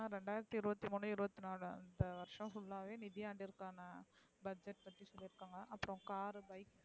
ரெண்ட்றாய்ரத்து இருவத்தி மூணு இருவத்தி நாலு அந்த வருஷம் full அ வே நிதி ஆண்டிற்கான budget பத்தி பேச்னனாக அப்பறம் car bike